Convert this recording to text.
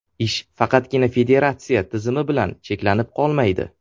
Ish faqatgina federatsiya tizimi bilan cheklanib qolmaydi.